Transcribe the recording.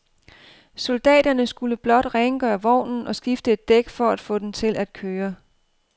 Soldaterne skulle blot rengøre vognen og skifte et dæk for at få den til at køre.